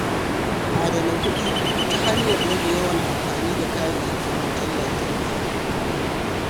Adana kuɗi ta hanyar rage yawan amfani da kayayyakin wutar lantarki.